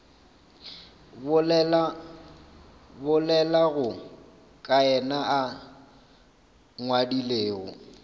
bolelago ka yena a ngwadilego